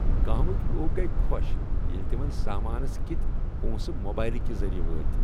گامٕکۍ لوکھ گٔیہ خۄش ییٚلہ تمن سامانس کِتھۍ پونسہٕ موبایلہٕ کہ ذریعہ وٲتۍ۔